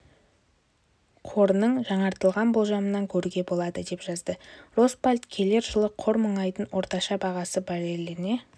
қорының жаңартылған болжамынан көруге болады деп жазды росбалт келер жылы қор мұнайдың орташа бағасы барреліне